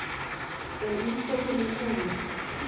En ísskápurinn er tómur.